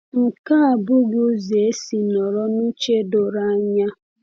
.Nke a abụghị ụzọ esi nọrọ n’uche doro anya.